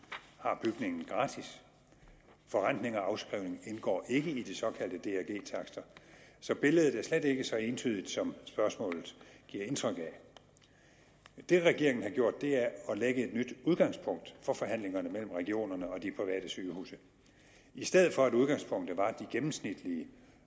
har bygningen gratis forrentning og afskrivning indgår ikke i de såkaldte drg takster så billedet er slet ikke så entydigt som spørgsmålet giver indtryk af det regeringen har gjort er at lægge et nyt udgangspunkt for forhandlingerne mellem regionerne og de private sygehuse i stedet for at udgangspunktet var de gennemsnitlige